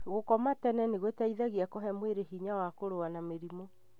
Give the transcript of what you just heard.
Gũkoma tene nĩgũteithagia kũhe mwĩrĩ hinya wa kũrũa na mĩrimũ.